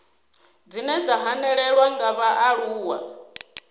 dzine dza hanelelwa nga vhaaluwa